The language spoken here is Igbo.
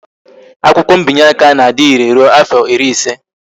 Akwụkwọ mbinye aka na-adire rụọ afọ ịrị ịse